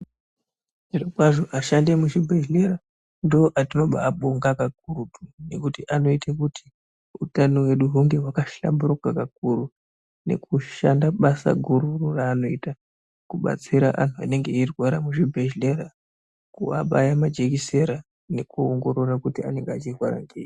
Zvirokwazvo ashandi emuzvibhedhleya ndooatinobaabonga kakurutu ngekuti anoite kuti utano hwedu hunge hwakahlamburika kakuru. Nekushanda basa gururo raanoita kubatsira anhu anee eirwara muzvibhedhlera. Kuabaya majekisera nekuongorora kuti anenge achirwara ngei.